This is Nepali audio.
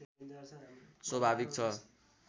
स्वाभाविक छ